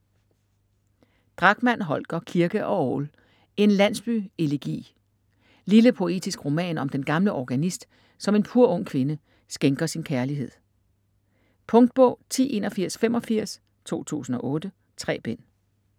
Drachmann, Holger: Kirke og orgel: En Landsby-elegi Lille poetisk roman om den gamle organist, som en purung kvinde skænker sin kærlighed. Punktbog 108185 2008. 3 bind.